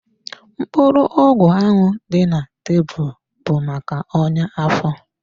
Mkpụrụ ọgwụ ahụ dị na tebụl bụ maka ọya afọ.